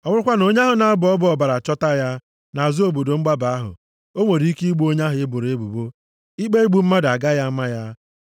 na onye ahụ na-abọ ọbọ ọbara achọta ya nʼazụ obodo mgbaba ahụ, o nwere ike igbu onye ahụ e boro ebubo, ikpe igbu mmadụ agaghị ama ya.